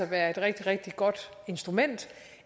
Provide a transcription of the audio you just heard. være et rigtig rigtig godt instrument